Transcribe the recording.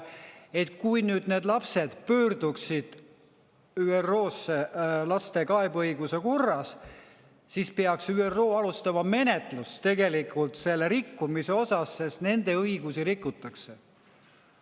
Et kui need lapsed pöörduksid ÜRO-sse laste kaebeõiguse korras, siis peaks ÜRO alustama menetlust tegelikult selle rikkumise osas, sest nende õigusi rikutakse.